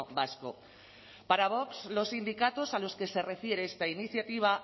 vasco para vox los sindicatos a los que se refiere esta iniciativa